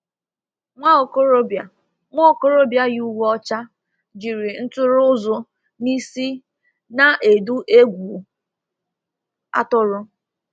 Nwa okorobịa Nwa okorobịa yi uwe ọcha, jiri ntụrụ ụzụ n'isi na-edu egwu atụrụ.